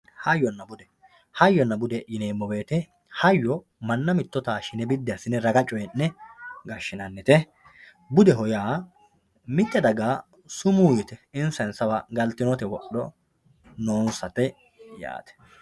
hayyonna bude hayyonna bude yineemowoyiite hayyo manna mitto tashshine biddi assine raga coyii'ne gashshinannite budeho yaa mitte daga sumuu yite insa insawa galtinota wodho noonsate yaate.